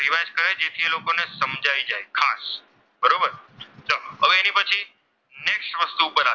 તે પછી next વસ્તુ પર આવી,